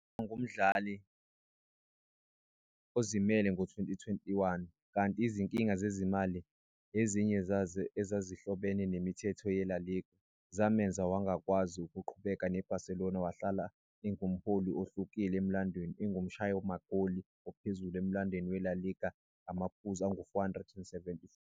Waba ngumdlali ozimele ngo-2021, kanti izinkinga zezimali-ezinye zazo ezazihlobene nemithetho yeLa Liga-zamenza wangakwazi ukuqhubeka ne-Barcelona. Wahlala engumholi ohlukile emlandweni, engumshayi magoli ophezulu emlandweni weLa Liga ngamaphuzu angu-474.